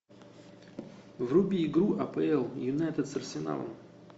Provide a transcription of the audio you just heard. вруби игру апл юнайтед с арсеналом